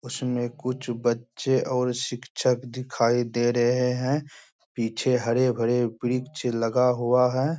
उसमें कुछ बच्चे और शिक्षक दिखाई दे रहे हैं पीछे हरे-भरे वृक्ष लगा हुआ है।